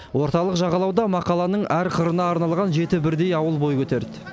орталық жағалауда мақаланың әр қырына арналған жеті бірдей ауыл бой көтерді